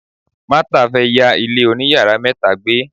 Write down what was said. Martha fe ya ile oniyaara meta gbe.